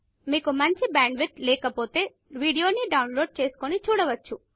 మీకు మంచి bandwidth లేకపోతె వీడియోని డౌన్ లోడ్ చేసుకుని చూడవచ్చు